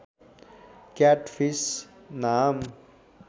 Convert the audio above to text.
CAT fees नाम